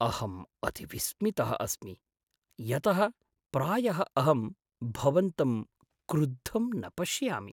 अहम् अतिविस्मितः अस्मि यतः प्रायः अहं भवन्तं क्रुद्धं न पश्यामि।